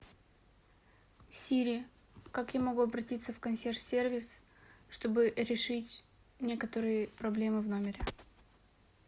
сири как я могу обратиться в консьерж сервис чтобы решить некоторые проблемы в номере